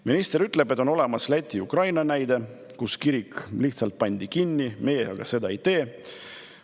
Minister ütleb, et on olemas Läti ja Ukraina näide, kus see kirik lihtsalt pandi kinni, meie aga seda ei tee.